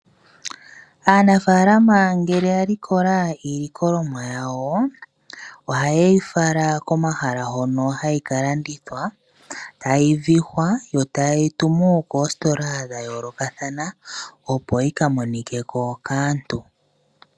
Aanafaalama ngele ya likola iilikolomwa yawo, oha yeyi fala komahala hono hayi ka landithwa, tayi vihwa, yo ta yeyi tumu koositola dha yoolokathana, opo yi ka monikeko kaantu.